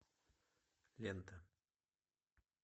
лента